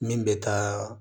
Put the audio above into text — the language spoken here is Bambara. Min bɛ taa